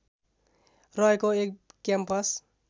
रहेको एक क्याम्पस